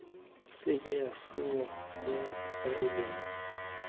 seke ya tsenngwa mo faeleng